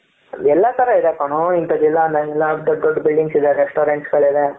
ಎಲ್ಲಾ ತರ ಇದೆ ಕಣೋ ಇಂಥದಿಲ್ಲ ಅನ್ನಂಗಿಲ್ಲ ದೊಡ್ಡ ದೊಡ್ಡ buildings ಇದೆ restaurants ಗಳು ಇದೆ.